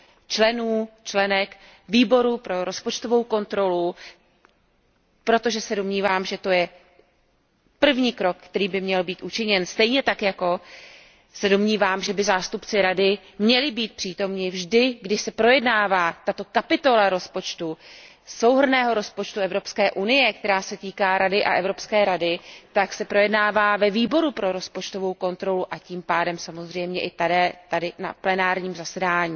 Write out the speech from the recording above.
členů a členek Výboru pro rozpočtovou kontrolu, protože se domnívám, že to je první krok, který by měl být učiněn, stejně tak jako se domnívám, že by zástupci Rady měli být přítomni vždy, když se projednává tato kapitola rozpočtu, souhrnného rozpočtu Evropské unie, která se týká Rady a Evropské rady a která se projednává ve Výboru pro rozpočtovou kontrolu a tím pádem samozřejmě i tady na plenárním zasedání.